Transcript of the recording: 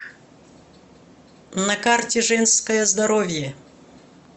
на карте женское здоровье